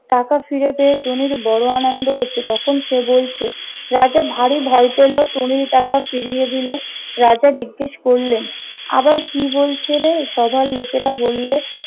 টাকা ফিরে পেয়ে টুনির বড় আনন্দ হয়েছে। তখন সে বলছে- রাজা ভারি ভয় পেল, টুনির টাকা ফিরিয়ে দিল রাজা জিজ্ঞেস করলেন- আবার কি বলছে রে? সভার লোকেরা বললে-